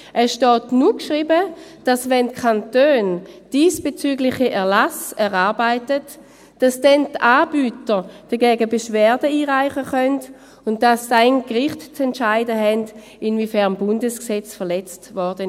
Es steht nur geschrieben, dass, wenn die Kantone diesbezügliche Erlasse erarbeiten, die Anbieter dagegen Beschwerde einreichen können und dass dann die Gerichte zu entscheiden haben, inwiefern das Bundesgesetz verletzt wurde.